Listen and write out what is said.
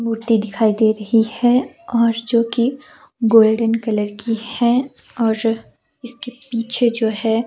मूर्ति दिखाई दे रही हैऔर जो कि गोल्डन कलर की है और इसके पीछे जो है।